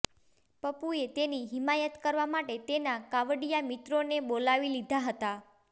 પપ્પુએ તેની હિમાયત કરવા માટે તેના કાંવડિયા મિત્રોને બોલાવી લીધા હતા